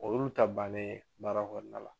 O y'olu ta bannen baara kɔnɔna na